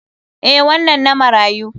Eh, wannan na marayu.